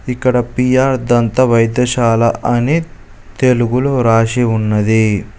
ఇక్కడ పి_ఆర్ దంతా వైద్యశాల అని తెలుగులో రాసి ఉన్నది.